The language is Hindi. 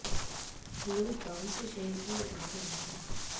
लोग गांव से शहर की ओर भाग रहे हैं